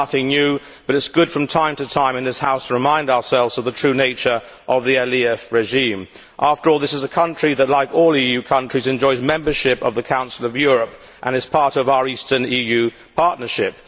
This is nothing new, but it is good from time to time in this House to remind ourselves of the true nature of the Aliyev regime. After all, this is a country which, like all EU countries, enjoys membership of the Council of Europe and is part of our eastern EU partnership.